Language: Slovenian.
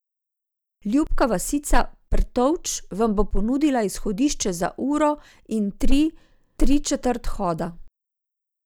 Ljubka vasica Prtovč vam bo ponudila izhodišče za uro in tri tri četrt hoda.